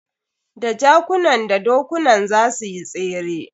Da jakunan da dokunan za suyi tsere.